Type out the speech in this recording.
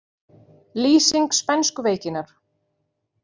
Lýsing spænsku veikinnar